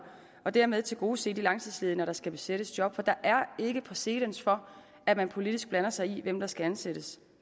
og dermed tilgodese de langtidsledige når der skal besættes job for der er ikke præcedens for at man politisk blander sig i hvem der skal ansættes